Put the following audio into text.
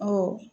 Ɔ